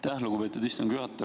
Aitäh, lugupeetud istungi juhataja!